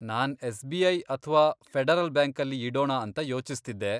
ನಾನ್ SBI. ಅಥ್ವಾ federal ಬ್ಯಾಂಕಲ್ಲಿ ಇಡೋಣ ಅಂತಾ ಯೋಚಿಸ್ತಿದ್ದೆ.